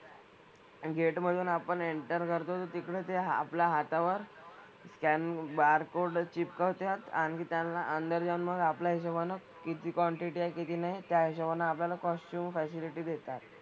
आणि गेट मधून आपण एंटर करतो तर तिकडे ते आपल्या हातावर स्कॅन बारकोड चिपकवत्यात. आणखी त्यांना अंदर जाऊन मग आपल्या हिशोबानं किती क्वांटिटी आहे किती नाही त्या हिशोबानं आपल्याला कॉस्च्युम फॅसिलिटी देतात.